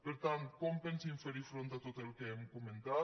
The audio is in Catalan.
per tant com pensen fer hi front a tot el que hem comentat